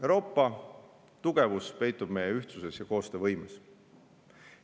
Euroopa tugevus peitub meie ühtsuses ja koostöövõimes.